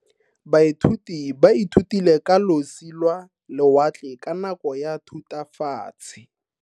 Baithuti ba ithutile ka losi lwa lewatle ka nako ya Thutafatshe.